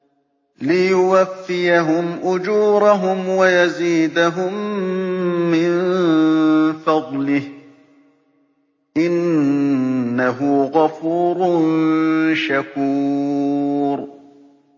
لِيُوَفِّيَهُمْ أُجُورَهُمْ وَيَزِيدَهُم مِّن فَضْلِهِ ۚ إِنَّهُ غَفُورٌ شَكُورٌ